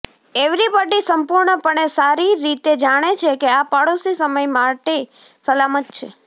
everybody સંપૂર્ણપણે સારી રીતે જાણે છે કે આ પડોશી સમય માટે સલામત છે